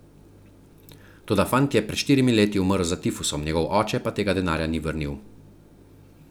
Toda fant je pred štirimi leti umrl za tifusom, njegov oče pa tega denarja ni vrnil.